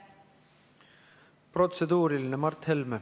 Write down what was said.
Protseduuriline küsimus, Mart Helme.